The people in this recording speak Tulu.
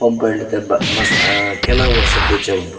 ಪಂಪ್ವೆಲ್ ಕೆಲವು ವರ್ಷದಿಂಚ ಉಂಡು.